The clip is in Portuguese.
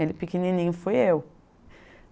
Ele pequenininho fui eu.